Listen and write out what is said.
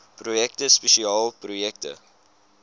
projekte spesiale projekte